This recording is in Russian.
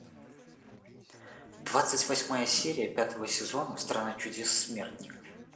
двадцать восьмая серия пятого сезона страна чудес смертников